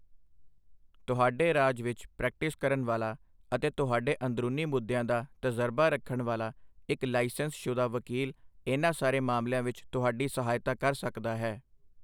ਤੁਹਾਡੇ ਰਾਜ ਵਿੱਚ ਪ੍ਰੈਕਟਿਸ ਕਰਨ ਵਾਲਾ ਅਤੇ ਤੁਹਾਡੇ ਅੰਦਰੂਨੀ ਮੁੱਦਿਆਂ ਦਾ ਤਜਰਬਾ ਰੱਖਣ ਵਾਲਾ ਇੱਕ ਲਾਇਸੰਸਸ਼ੁਦਾ ਵਕੀਲ ਇਨ੍ਹਾਂ ਸਾਰੇ ਮਾਮਲਿਆਂ ਵਿੱਚ ਤੁਹਾਡੀ ਸਹਾਇਤਾ ਕਰ ਸਕਦਾ ਹੈ।